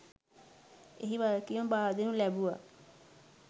එහි වගකීම බාරදෙනු ලැබුව